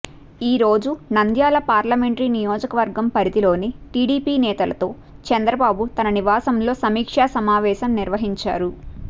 ఈరోజు నంద్యాల పార్లమెంటరీ నియోజకవర్గం పరిధిలోని టీడీపీ నేతలతో చంద్రబాబు తన నివాసంలో సమీక్షా సమావేశం నిర్వహించారు